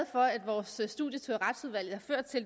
for at vores studietur i retsudvalget